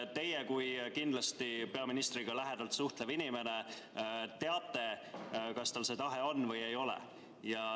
Teie kui peaministriga kindlasti lähedalt suhtlev inimene teate, kas tal on see tahe või ei ole.